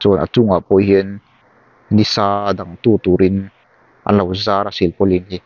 a chungah pawh hian ni sa dang tu turin an lo zar a silpaulin hi.